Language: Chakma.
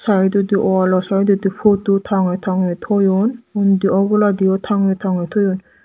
saedodi walo saedodi pudu tange tange toyon undi oboladio tange tange toyon.